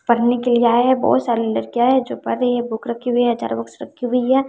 पढ़ने के लिए आए बहोत सारी लड़कियां है जो पढ रही हैं बुक रखी हुई हजारों बुक्स रखी हुई है।